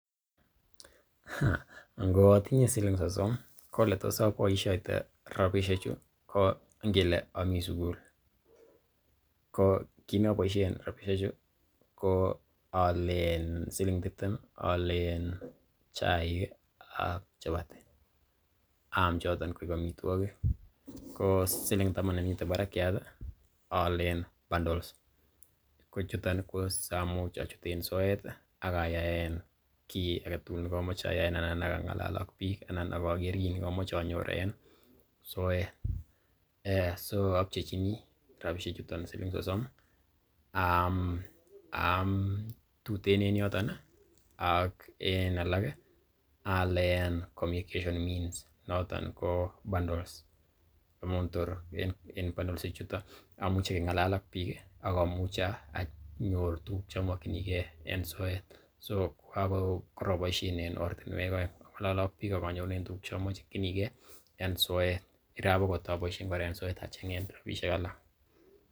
Ngo atinye siling sosom, ko ole tos aboisioite rabisheju, ko ngele ami sugul ko kiit ne aboishen rabisheju ko siling tiptem aalen chaik ak chapati aam choton koik amitwogik ko siling taman nemiten barakiat aalen bundles kochuton ii ko siamuch achuten soet ak ayaen kiy age tugul nekomoche ayaen anan ak ang'alalen ak biik anan ak ager kiy nekomoche anyor en soet. So apchechini rabishek chuton siling sosom aam tuten en yoton ak en alak aalen communictaion means noton ko bundles amun tor en bundles ichuto amuche keng'alal ak biik ak amuche anyor tuguk che omokinige en soet, so ko karaboishen en ortinwek oeng ang'ole ak biik ak anyorunen tuguk che omokinige en soet irap agot aboishen kora en soet acheng'en rabishek alak.